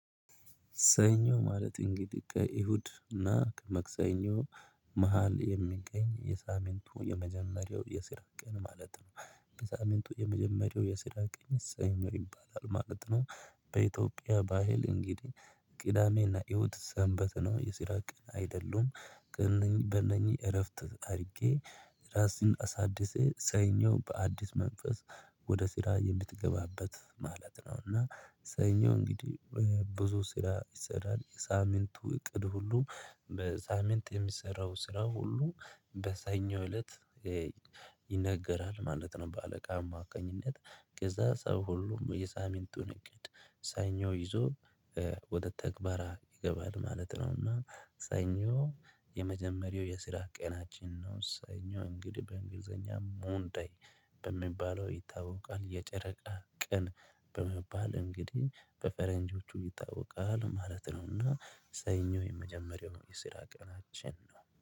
ሰኞ ማለት እንግዲህ ከእሁድ እና ከማክሰኞ መሃል የሚገኝ የሳምንቱ የመጀመሪያው የስራ ቀን ማለት ነው። የሳምንቱ የመጀመሪያው የስራ ቀን ሰኞ ይባላል ማለት ነው። በኢትዮጵያ ባህል እንግዲህ ቅዳሜና እሁድ ሰንበት ነው የስራ ቀን አይደሉም። ግን በእነኚህ እረፍት አድርጌ ራስን አሳድሼ ሰኞ በአዲስ መንፈስ ወደ ስራ የምትገባበት ማለት ነው። እና ሰኞ እንግዲህ ብዙ ስራ ይሰራል የሳምንቱ እቅድ ሁሉ በሳምንት የሚሰራው ስራ ሁሉ በሰኞ እለት ይነገራል ማለት ነው። በአለቃ አማካኝነት ከዛ ሰው ሁሉም የሳምንቱን እቅድ ሰኞ ይዞ ወደ ትግበራ ይገባል ማለት ነውና። ሰኞ የመጀመሪያው የስራ ቀናችን ነው ሰኞ እንግዲህ በእንግሊዘኛም መንደይ በሚባለው ይታወቃል። የጨረቃ ቀን በሚባል እንግዲህ በፈረንጆቹ ይታወቃል ማለት ነውና። ሰኞ የመጀመሪያው የስራ ቀናችን ነው